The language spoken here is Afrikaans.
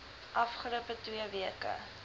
afgelope twee weke